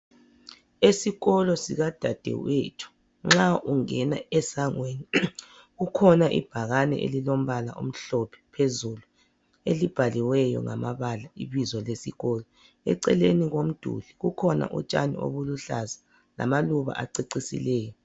Esikolo sikadadewethu nxa ungena esangweni kukhona ibhakane elilombala omhlophe phezulu elibhaliweyo ngamabala ibizo lesikolo eceleni kwomduli kukhona utshani okuluhlaza lamaluba acecisileyo.